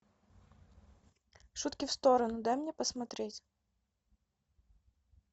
шутки в сторону дай мне посмотреть